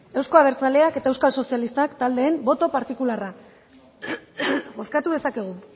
euzko abertzaleak eta euskal sozialistak taldeen boto partikularra bozkatu dezakegu